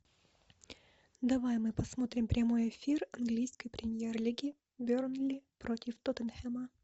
давай мы посмотрим прямой эфир английской премьер лиги бернли против тоттенхэма